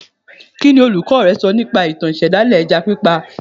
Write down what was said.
Kí ni olùkọ́ rẹ sọ nípa ìtàn ìṣẹ̀dálẹ̀ ẹja pípa